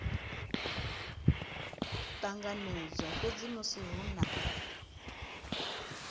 ṱanganedzwa fhedzi musi hu na